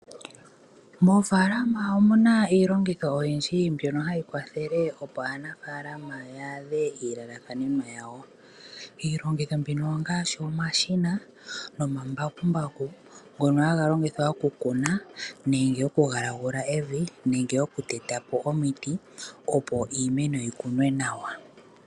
Moofaalama omu na iilongitho oyindji mbyono hayi kwathele opo aanafaalama ya adhe iilalakanenwa yawo. Iilongitho mbino ongaashi omashina nomambakumbaku ngono haga longithwa okukuna nenge okugalagula evi nenge okuteta po omiti opo iimeno yi kunwe nawa.